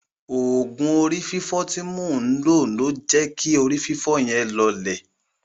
Òògùn orí fífọ́ tí mò ń lo jẹ́ kí orí fífọ́ yẹn lọọlẹ̀.